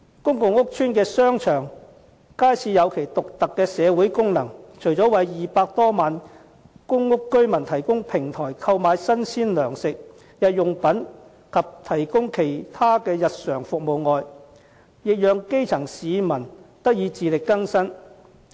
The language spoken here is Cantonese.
公共屋邨的商場、街市有其獨特的社會功能，除了為200多萬公屋居民提供平台，讓他們購買新鮮糧食、日用品及提供其他日常服務外，亦讓基層市民得以自力更生。